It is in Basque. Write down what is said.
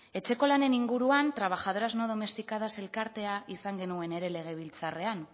etxeko lanen inguruan trabajadoras no domesticadas elkartea izan genuen ere legebiltzarrean